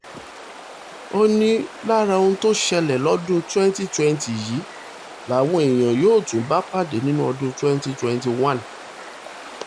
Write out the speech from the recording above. ó ní lára ohun tó ṣẹlẹ̀ lọ́dún twenty twenty yìí làwọn èèyàn yóò tún bá pàdé nínú ọdún twenty twenty one